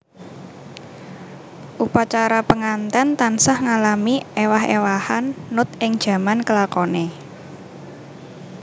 Upacara penganten tansah ngalami ewah ewahan nut ing jaman kelakone